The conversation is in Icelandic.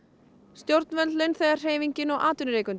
stjórnvöld launþegahreyfingin og atvinnurekendur